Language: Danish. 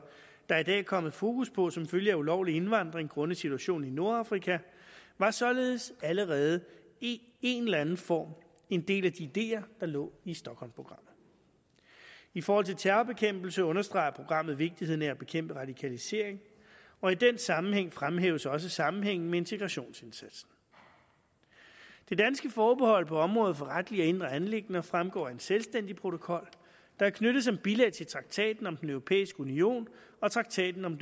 der i dag er kommet fokus på som følge af ulovlig indvandring grundet situationen i nordafrika var således allerede i en eller anden form en del af de ideer der lå i stochholmprogrammet i forhold til terrorbekæmpelse understreger programmet vigtigheden af at bekæmpe radikalisering og i den sammenhæng fremhæves også sammenhængen med integrationsindsatsen det danske forbehold på området for retlige og indre anliggender fremgår af en selvstændig protokol der er knyttet som bilag til traktaten om den europæiske union og traktaten om